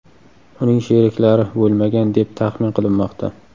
Uning sheriklari bo‘lmagan, deb taxmin qilinmoqda.